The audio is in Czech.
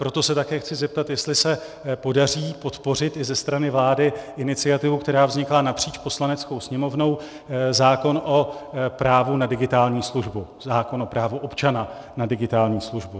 Proto se také chci zeptat, jestli se podaří podpořit i ze strany vlády iniciativu, která vznikla napříč Poslaneckou sněmovnou, zákon o právu na digitální službu, zákon o právu občana na digitální službu.